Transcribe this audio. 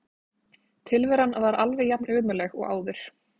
Tilveran var alveg jafnömurleg og áður.